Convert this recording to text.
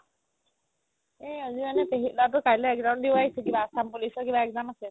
এহ আজি মানে পেহিৰ লৰাটো কালৈ exam দিব আহিছে কিবা অসম police ৰ কিবা exam আছিল